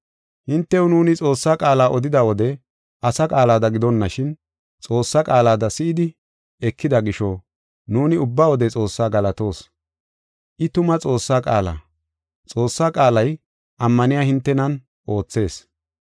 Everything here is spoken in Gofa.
Hintew nuuni Xoossaa qaala odida wode asa qaalada gidonashin, Xoossaa qaalada si7idi ekida gisho nuuni ubba wode Xoossaa galatoos. I tuma Xoossaa qaala; Xoossaa qaalay ammaniya hintenan oothees.